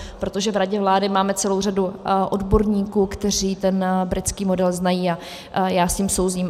Protože v radě vlády máme celou řadu odborníků, kteří ten britský model znají, a já s ním souzním.